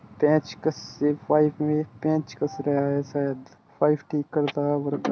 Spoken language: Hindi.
पेचकस से पाइप में पेच कस रहा है शायद पाइप ठीक करता वर्कर --